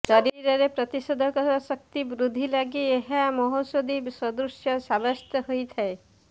ଶରୀରରେ ପ୍ରତିଷେଧକ ଶକ୍ତି ବୃଦ୍ଧି ଲାଗି ଏହା ମହୌଷଧୀ ସଦୃଶ ସାବ୍ୟସ୍ତ ହୋଇଥାଏ